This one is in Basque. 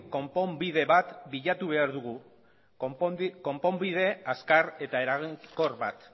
konponbide bat bilatu behar dugu konponbide azkar eta eraginkor bat